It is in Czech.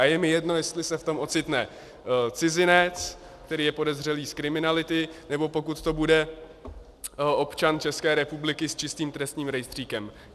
A je mi jedno, jestli se v tom ocitne cizinec, který je podezřelý z kriminality, nebo pokud to bude občan České republiky s čistým trestním rejstříkem.